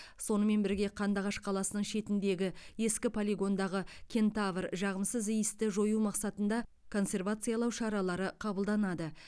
сонымен бірге қандыағаш қаласының шетіндегі ескі полигондағы кентавр жағымсыз иісті жою мақсатында консервациялау шаралары қабылданады